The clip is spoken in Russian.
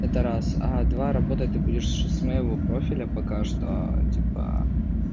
это раз а два работать ты будешь с моего профиля пока что типа